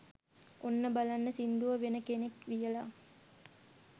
ඔන්න බලන්න සිංදුව වෙන කෙනෙක් ලියලා